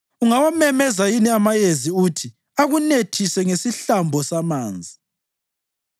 Ungawamemeza yini amayezi uthi akunethise ngesihlambo samanzi?